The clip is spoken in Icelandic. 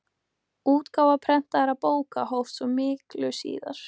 Útgáfa prentaðra bóka hófst svo miklu síðar.